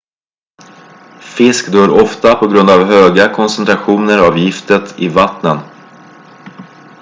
fisk dör ofta på grund av höga koncentrationer av giftet i vattnen